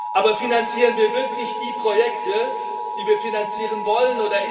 Aber finanzieren wir wirklich die Projekte, die wir finanzieren wollen?